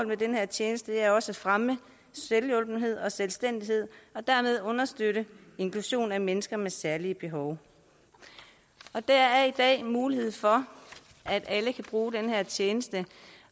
med den her tjeneste er også at fremme selvhjulpenhed og selvstændighed og dermed understøtte inklusion af mennesker med særlige behov der er i dag mulighed for at alle kan bruge den tjeneste